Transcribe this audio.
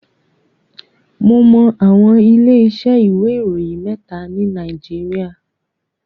Mo mọ àwọn ilé iṣẹ́ ìwé ìròyìn mẹ́ta ni Nàìjíríà.